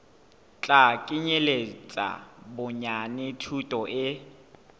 tla kenyeletsa bonyane thuto e